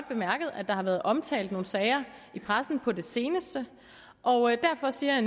bemærket at der har været omtalt nogle sager i pressen på det seneste og derfor siger